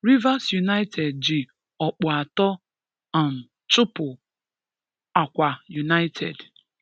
Rivers United ji ọkpụ atọ um chụpụ̀ Akwa United.